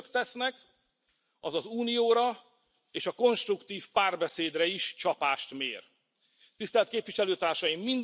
Amit Önök tesznek, az az Unióra és a konstruktív párbeszédre is csapást mér. Tisztelt Képviselőtársaim!